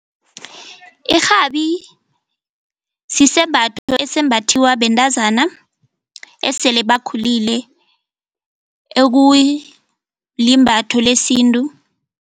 Irhabi sisembatho esimbathiwa bentazana esele bakhulile ekulimbatho lesintu.